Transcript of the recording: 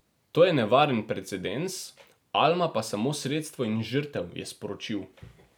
To je nevaren precedens, Alma pa samo sredstvo in žrtev, je sporočil.